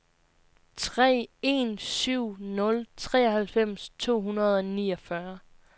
tre en syv nul treoghalvfems to hundrede og niogfyrre